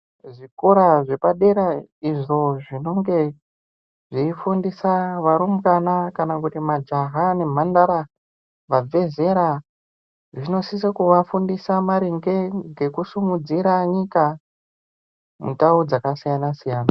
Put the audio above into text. Zvikora zvepadera izvo zvinonge zveifundisa varumbwana kana kuti majaha nemhandara vabve zera, zvinosise kuvafundisa maringe ngekusimudzira nyika mundau dzakasiyana-siyana.